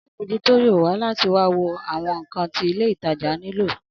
Alámòjútó yóò wà láti wá wo àwọn ǹkan tí ilé ìtajà nilo